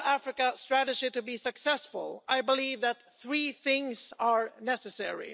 the EU Africa strategy to be successful, I believe that three things are necessary.